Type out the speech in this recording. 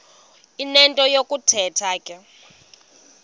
enento yokuthetha ke